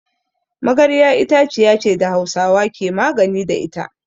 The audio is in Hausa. Magarya itaciya ce da Hausawa ke magani da ita.